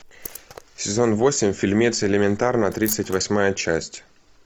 сезон восемь фильмец элементарно тридцать восьмая часть